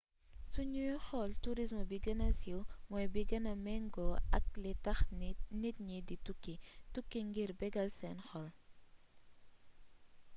su ñuy xool tourisme bi gëna siiw mooy bi gëna méngoo ak li tax nit ñi di tukki tukki ngir bégal seen xol